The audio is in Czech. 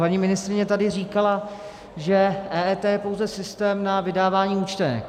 Paní ministryně tady říkala, že EET je pouze systém na vydávání účtenek.